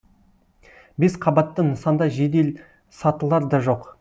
бес қабатты нысанда жеделсатылар да жоқ